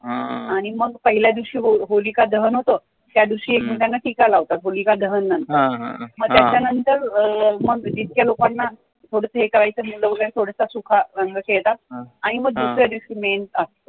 आणि मग पहिल्या दिवशी होतं, त्या दिवशी एकमेकांना टीका लावतात नंतर मग त्याच्या नंतर जितक्या लोकांना थोडसं सुका रंग खॆळतात आणि मग दुसऱ्या दिवशी main असतं.